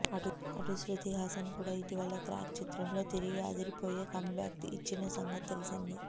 అటు శృతి హాసన్ కూడా ఇటీవల క్రాక్ చిత్రంతో తిరిగి అదిరిపోయే కమ్బ్యాక్ ఇచ్చిన సంగతి తెలిసిందే